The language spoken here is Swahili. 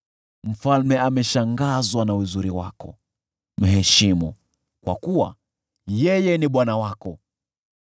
Mfalme ameshangazwa na uzuri wako; mheshimu, kwa kuwa yeye ni bwana wako.